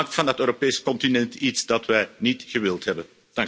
U maakt van het Europese continent iets dat wij niet gewild hebben.